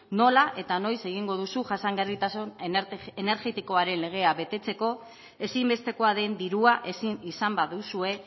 nola eta noiz egingo duzu jasangarritasun energetikoaren legea betetzeko ezinbestekoa den dirua ezin izan baduzue